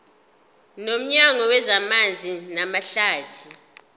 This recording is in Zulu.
nomnyango wezamanzi namahlathi